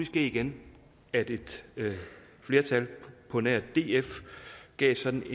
ske igen at et flertal på nær df gav sådan